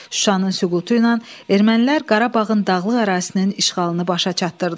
Şuşanın süqutu ilə ermənilər Qarabağın dağlıq ərazisinin işğalını başa çatdırdılar.